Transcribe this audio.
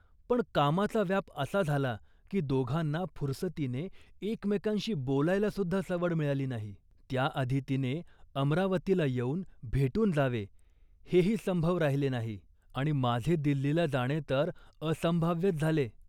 पण कामाचा व्याप असा झाला की दोघांना फुरसतीने एकमेकांशी बोलायलासुद्धा सवड मिळाली नाही. त्याआधी तिने अमरावतीला येऊन भेटून जावे हेही संभव राहिले नाही आणि माझे दिल्लीला जाणे तर असंभाव्यच झाले